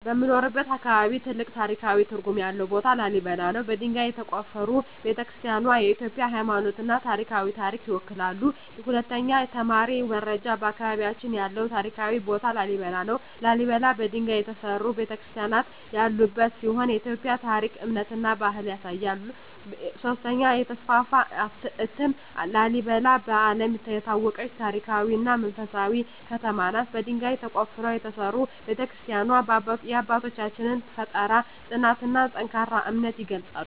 በምኖርበት አካባቢ ትልቅ ታሪካዊ ትርጉም ያለው ቦታ ላሊበላ ነው። በድንጋይ የተቆፈሩ ቤተ-ክርስቲያናትዋ የኢትዮጵያን ሃይማኖታዊና ባህላዊ ታሪክ ይወክላሉ። 2) የተማሪ ደረጃ በአካባቢያችን ያለው ታሪካዊ ቦታ ላሊበላ ነው። ላሊበላ በድንጋይ የተሠሩ ቤተ-ክርስቲያናት ያሉበት ሲሆን የኢትዮጵያን ታሪክ፣ እምነትና ባህል ያሳያል። 3) የተስፋፋ እትም ላሊበላ በዓለም የታወቀች ታሪካዊ እና መንፈሳዊ ከተማ ናት። በድንጋይ ተቆፍረው የተሠሩ ቤተ-ክርስቲያናትዋ የአባቶቻችንን ፍጠራ፣ ጽናትና ጠንካራ እምነት ይገልጻሉ።